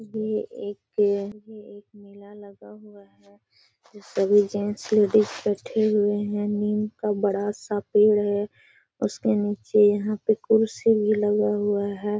ये एक में एक मेला लगा हुआ है जो सभी जेंट्स लेडीज़ बैठे हुवे हैं। नीम का बढ़ा सा पेड़ है उसके नीचे यहाँ पे कुर्सी भी लगा हुआ है।